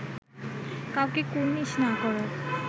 কাউকে কুর্নিশ না করার